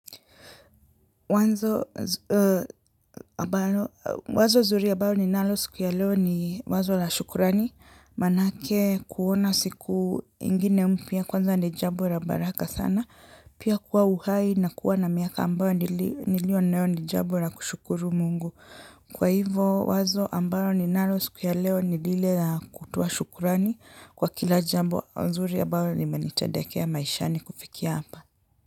Wazo zuri ambao ninalo siku ya leo ni wazo la shukurani manake kuona siku ingine mpya kwanza ni jambo la baraka sana pia kuwa uhai na kuwa na miaka ambayo nilio nayo ni jambo la kushukuru Mungu. Kwa hivyo wazo ambalo ninalo siku ya leo ni lile la kutoa shukrani kwa kila jambo nzuri ambalo nimenitendekea maishani kufikia hapa.